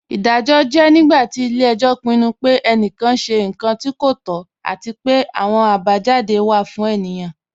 Iḍajọ jẹ̀ nígbàtí ilẹ̀-ẹ̀jọ pinnu pẹ̀ ènìkán ṣẹ̀ nkàn tí kò tọ̀, àti pẹ̀ àwọn àbájádé wa fún ènìyẹn.